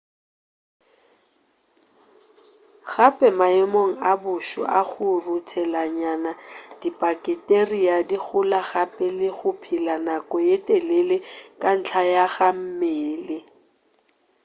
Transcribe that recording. gape maemong a boso a go ruthelanyana dibaketeria di gola gape le go phela nako ye telele ka ntla ga mmele